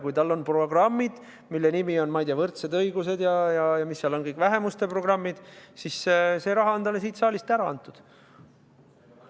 Kui tal on programmid, mille nimi on, ma ei tea, võrdsed õigused või mis seal kõik need vähemuste programmid on, siis sellesa on talle raha siit saalist antud.